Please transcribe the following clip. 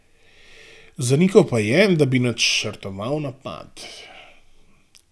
Zanikal pa je, da bi načrtoval napad.